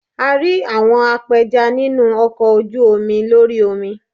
A rí àwọn apẹja nínú ọkọ̀ ojú omi lórí omi.